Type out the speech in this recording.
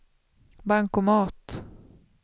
bankomat